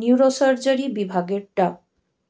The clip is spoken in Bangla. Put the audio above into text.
নিউরোসার্জারি বিভাগের ডা